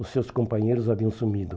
Os seus companheiros haviam sumido.